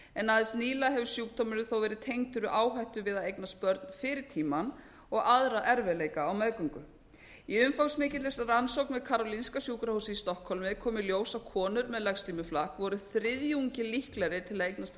en aðeins nýlega hefur sjúkdómurinn þó verið tengdur við áhættu við að eignast börn fyrir tíminn og aðra erfiðleika á meðgöngu í umfangsmikilli rannsókn karolinska sjúkrahússins í stokkhólmi kom í ljós að konur með legslímuflakk voru þriðjungi líklegri til að eignast